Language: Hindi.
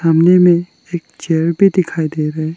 खुले में एक चेयर भी दिखाई दे रहे।